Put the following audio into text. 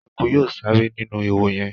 ẹkú yóò sáré sinu ihò yén.